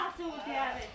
Türkcəmi danışır?